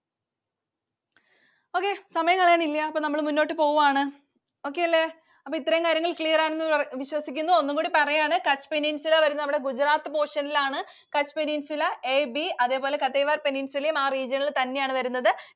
ഇനി സമയം കളയാനില്ല. അപ്പൊ നമ്മൾ മുന്നോട്ട് പോവാണ്. Okay അല്ലെ? അപ്പൊ ഇത്രയും കാര്യങ്ങൾ clear ആണെന്ന് വിശ്വസിക്കുന്നു, ഒന്നുകൂടി പറയാണ്. Kutch Peninsula വരുന്നത് നമ്മുടെ Gujarat portion ലാണ്. Kutch Peninsula AB. അതേപോലെ Kathiawar peninsula യും ആ region ൽ തന്നെയാണ് വരുന്നത്.